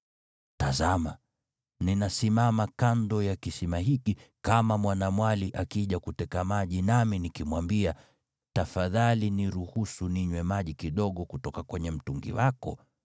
Tazama, ninasimama kando ya kisima hiki, kama mwanamwali akija kuteka maji nami nikimwambia, tafadhali niruhusu ninywe maji kidogo kutoka kwenye mtungi wako,